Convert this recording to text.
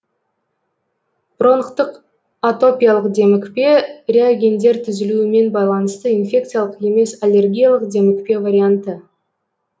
бронхтық атопиялық демікпе реагендер түзілуімен байланысты инфекциялық емес аллергиялық демікпе варианты